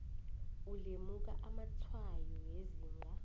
ulemuka amatshwayo wezinga